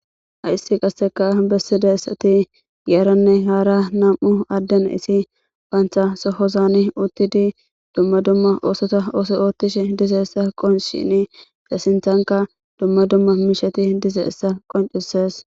Hayse qassikas bessishe asati, yaranne hara naamu adde nisse banta sohozane uttide dumma dumma oosota oottishe diza issa qonccisheene, eta sintanka dumma dumma mishati bettiza issa qonccisees.